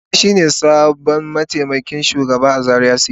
Sani shine sabon mataimakin shugaba a Zaria city.